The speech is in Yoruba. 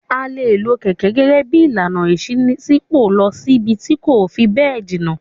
A le lo kẹ̀kẹ́ gẹ́gẹ́ bí ìlànà ìṣínípò lọ síbi tí kò fi bẹ́ẹ̀ jìnà.